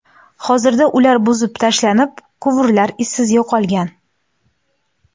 Hozirda ular buzib tashlanib, quvurlar izsiz yo‘qolgan.